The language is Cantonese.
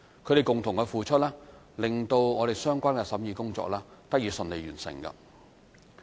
他們的共同付出，令相關的審議工作得以順利完成。